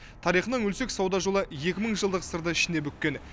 тарихына үңілсек сауда жолы екі мың жылдық сырды ішіне бүккен